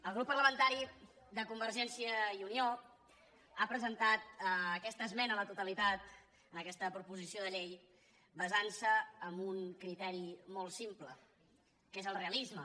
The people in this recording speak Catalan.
el grup parlamentari de convergència i unió ha presentat aquesta esmena a la totalitat a aquesta proposició de llei basant se en un criteri molt simple que és el realisme